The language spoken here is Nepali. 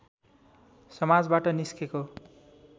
समाजबाट निस्केको